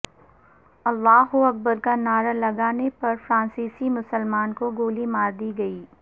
اللہ اکبر کا نعرہ لگانے پر فرانسیسی مسلمان کو گولی ماردی گئی